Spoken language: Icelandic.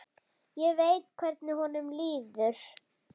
Ég veit hvernig honum líður.